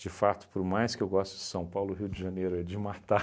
De fato, por mais que eu goste de São Paulo, Rio de Janeiro é de matar.